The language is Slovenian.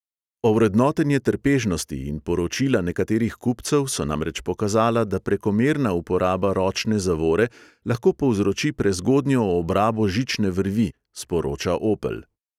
Ovrednotenje trpežnosti in poročila nekaterih kupcev so namreč pokazala, da prekomerna uporaba ročne zavore lahko povzroči prezgodnjo obrabo žične vrvi, sporoča opel.